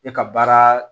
E ka baara